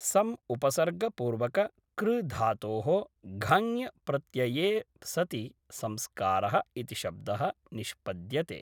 सम् उपसर्गपूर्वक कृ धातोः घञ् प्रत्यये सति संस्कारः इति शब्दः निष्पद्यते